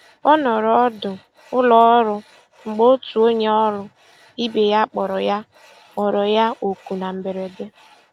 Ọ nọrọ ọdụ ụlọọrụ mgbe otu onye ọrụ ibe ya kpọrọ ya kpọrọ ya oku na mberede.